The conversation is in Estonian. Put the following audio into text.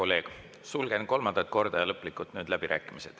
Sulgen läbirääkimised kolmandat korda ja nüüd lõplikult.